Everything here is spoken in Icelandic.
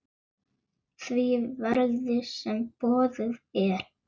því verði, sem boðið er.